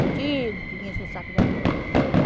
Antigo, que vinha esse saco de açúcar.